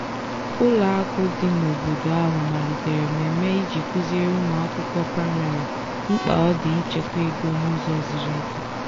ụlọakụ dị n'obodo ahụ malitere mmemme iji kụziere ụmụakwụkwọ praịmarị mkpa ọ dị ịchekwa ego n'ụzọ ziri ezi.